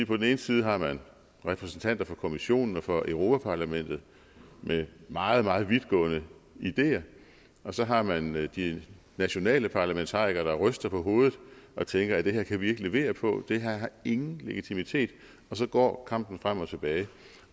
på den ene side har man repræsentanter for kommissionen og for europa parlamentet med meget meget vidtgående ideer og så har man de nationale parlamentarikere der ryster på hovedet og tænker det her kan vi ikke levere på det her har ingen legitimitet og så går kampen frem og tilbage